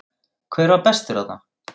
Hver var bestur þarna?